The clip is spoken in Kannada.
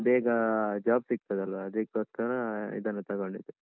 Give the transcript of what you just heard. ಬೇಗ ಅಹ್ job ಸಿಗ್ತದಲ್ವಾ, ಅದಿಕ್ಕೋಸ್ಕರ ಇದನ್ನು ತೊಗೊಂಡಿದ್ದು.